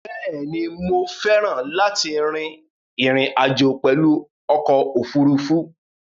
Bẹ́ẹ̀ ni, mo féràn láti rin ìrìn àjò pèlu okò òfurufú?